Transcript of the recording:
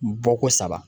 Bɔ ko saba